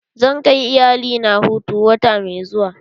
Zan kai iyalina hutu wata mai zuwa.